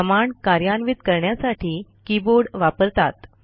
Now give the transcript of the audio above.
command कार्यान्वित करण्यासाठी keyboard वापरतात